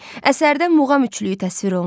Əsərdə muğam üçlüyü təsvir olunub.